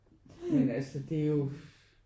Men altså det er jo